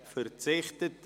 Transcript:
– Sie verzichtet.